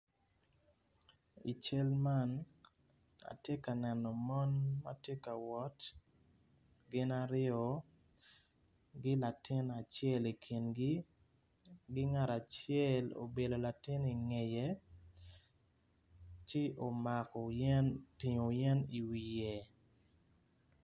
I cal man atye ka neno mon ma tye ka wot gin aryo ki latin acel ikingi ki ngat acel obyelo latin ingeye ci omako yen otingo yen iwiye.